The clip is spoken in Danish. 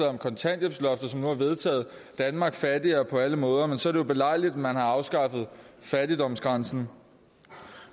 om kontanthjælpsloftet som nu vedtaget danmark fattigere på alle måder men så er det jo belejligt at man har afskaffet fattigdomsgrænsen